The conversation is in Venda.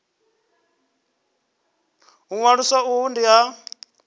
u ṅwalisa uhu ndi ha